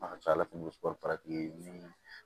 A ka ca ala fɛ ni